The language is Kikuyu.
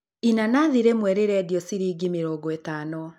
Inanathi rĩmwe rĩrendio shiringi mĩrongo ĩtano.